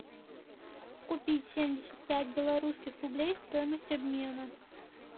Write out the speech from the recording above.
купить семьдесят пять белорусских рублей стоимость обмена